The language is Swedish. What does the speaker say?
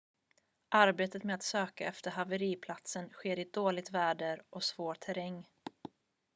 arbetet med att söka efter haveriplatsen sker i dåligt väder och svår terräng